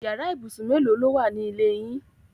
Yàrá ibùsùn mélòó lówà ni ilé yín?